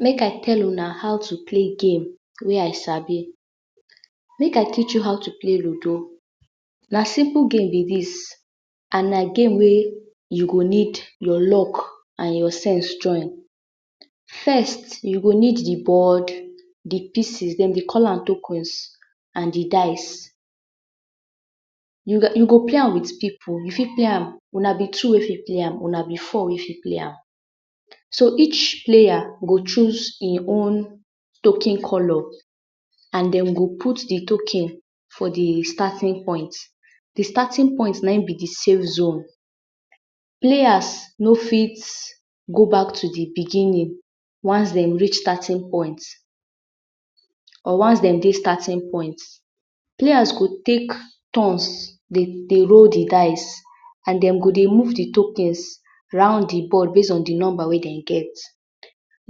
Make I tell una how to play game wey I sabi, make I teach you how to play lido. Na simple game be dis and na game wey you go need your lok and your sense join. First, you go need di board, di pieces, den dey call am…….? And di dice, you go lay with pipu, you go play am, wuna bee two wey fit play am, wuna be four wey fit play am. So, each pleya go chus in own token color and den go put di token for di statin point. Di statin point na in be di safe zone, pleyas no fit go bak to di biginin, once dey rich statin point or once den dey statin point. Pleyas go take tons dey roll di dice, and den go dey move di tokens base on di ball round di nomba wey den get.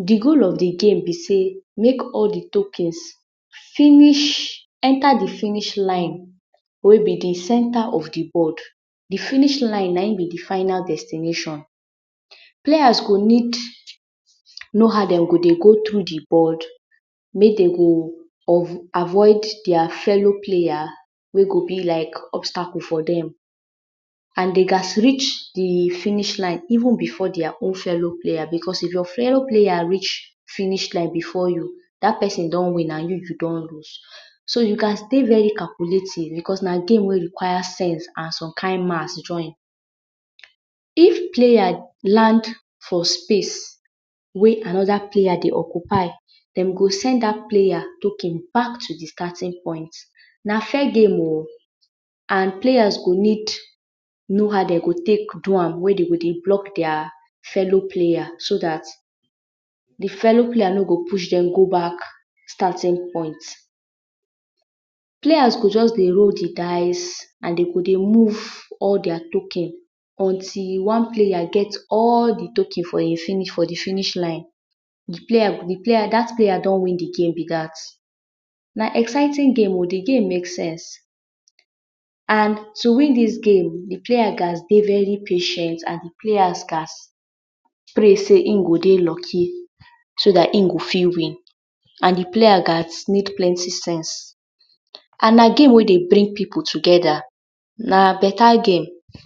Di goal of di game be sey make all di token finish, enta di finish line wey be di centre of di board, di finish line na in be di final destineshon. Pleyas go need know how dem go dey go through out di board, mey de go avoid dia fellow pleya wey go be like obstacle for dem. And dey can rich di finish line even before dia own felo pleya becos if your felo pleya rich finish line before you, dat pesin don win and you, you don loose. So you can stay very calculatin becos na game ey require sense and som kind math join. If pleya land for space wey anoda pleya dey occupy, dem go send dat pleya token bak to di statin point. Na fair game o, and pleya go need know how dem go take pley am wey de go dey blok dia felo pleya so dat, I felo pleya no go push dem go bak statin point. Pleya go just dey roll di dice, and de go dey move all dia tokens, until one pleya get all di tokens for im, for di finish line, dat pleya don win di game be dat. Na exciting game o, di game make sense and to win dis game, di pleya ghas dey very patient and di pleya ghas prey sey im go dey loki so dat im go fit win and di pleya ghas need plenty sense and na game wey dey bring pipu togeda, na beta game.